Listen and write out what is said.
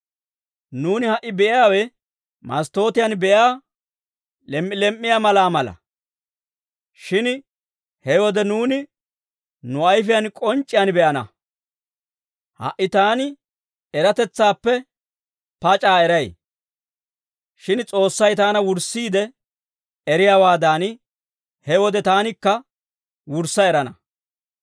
Nuuni ha"i be'iyaawe masttootiyan be'iyaa lem"i lem"iyaa malaa mala; shin he wode nuuni nu ayfiyaan k'onc'c'iyaan be'ana. Ha"i taani eratetsaappe pac'aa eray; shin S'oossay taana wurssiide eriyaawaadan, he wode taanikka wurssa erana.